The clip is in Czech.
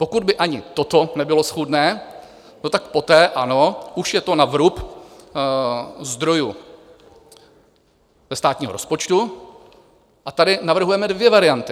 Pokud by ani toto nebylo schůdné, tak poté ano, už je to na vrub zdrojů ze státního rozpočtu, a tady navrhujeme dvě varianty.